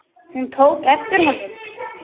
Hún tók eftir honum!